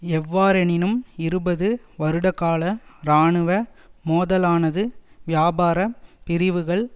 எவ்வாறெனினும் இருபது வருடகால இராணுவ மோதலானது வியாபார பிரிவுகள்